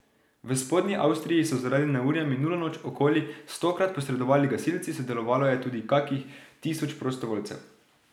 V Spodnji Avstriji so zaradi neurja minulo noč okoli stokrat posredovali gasilci, sodelovalo je tudi kakih tisoč prostovoljcev.